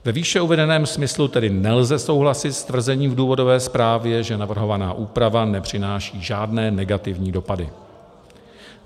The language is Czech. Ve výše uvedeném smyslu tedy nelze souhlasit s tvrzením v důvodové zprávě, že navrhovaná úprava nepřináší žádné negativní dopady.